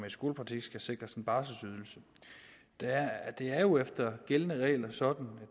i skolepraktik skal sikres en barselydelse det er jo efter gældende regler sådan at